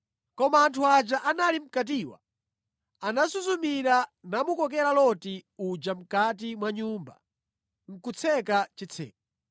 Koma anthu aja anali mʼkatiwa anasuzumira namukokera Loti uja mʼkati mwa nyumba nʼkutseka chitseko.